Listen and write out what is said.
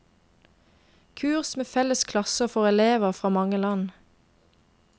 Kurs med felles klasser for elever fra mange land.